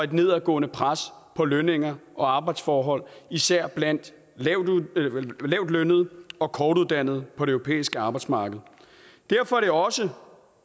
et nedadgående pres på lønninger og arbejdsforhold især blandt lavtlønnede og kortuddannede på det europæiske arbejdsmarked derfor er det også